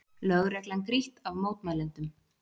Lögreglan grýtt af mótmælendum